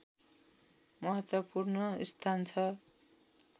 महत्त्वपूर्ण स्थान छ